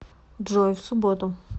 джой в субботу